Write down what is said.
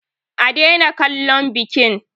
A daina kallon bikin!